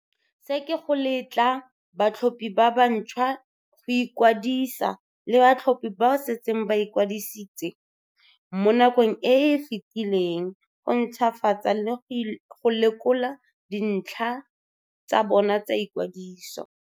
"Se ke go letla batlhophi ba ba ntšhwa go ikwadisa le batlhophi bao ba setseng ba ikwadisitse mo nakong e e fetileng go ntšhwafatsa le go lekola dintlha tsa bona tsa ikwadiso."